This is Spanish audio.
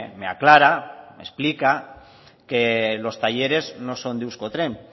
me aclara me explica que los talleres no son de euskotren